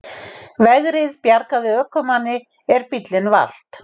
Vegrið bjargaði ökumanni er bíll valt